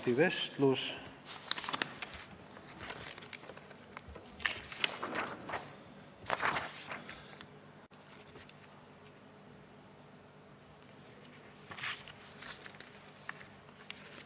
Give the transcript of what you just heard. Ja millegipärast rahanduskomisjon ei arvestanud Reformierakonna fraktsiooni ettepanekut suurendada teadus-, arendus- ja innovatsiooniprogrammi kulutusi üürikorterite rajamise asemel.